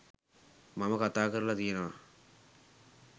මම කතා කරල තියනව.